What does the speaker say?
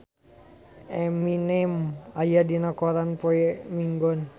Eminem aya dina koran poe Minggon